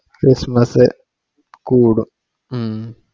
Christmas കുടും ഉം